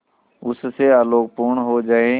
उससे आलोकपूर्ण हो जाए